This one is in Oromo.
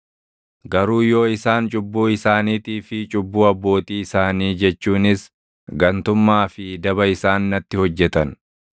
“ ‘Garuu yoo isaan cubbuu isaaniitii fi cubbuu abbootii isaanii jechuunis gantummaa fi daba isaan natti hojjetan